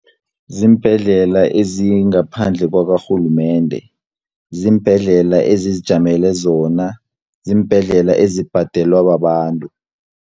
Ziimbhedlela ezingaphandle kwakarhulumende, ziimbhedlela ezizijamele zona, ziimbhedlela ezibhadelwa babantu.